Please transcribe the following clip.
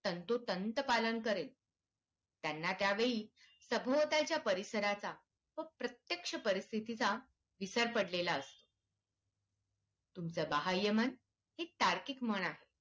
तंतोतंत पालन करेल त्यांना त्यावेळी सभोवतालच्या परिसराचा प्रत्यक्ष परिस्थितीचा विसर पडलेला असत तुमच्या बाह्यमन ही तार्किक मन आहे